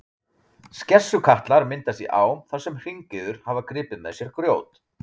Skessukatlar myndast í ám þar sem hringiður hafa gripið með sér grjót.